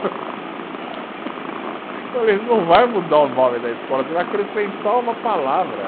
falei, não vai mudar o nome da escola, você vai acrescentar uma palavra.